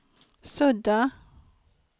sudda